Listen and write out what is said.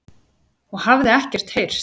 og hafði ekkert heyrt.